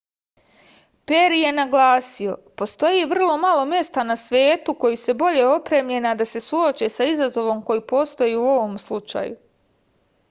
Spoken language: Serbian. peri je naglasio postoji vrlo malo mesta na svetu koji su bolje opremljena da se suoče sa izazovom koji postoji u ovom slučaju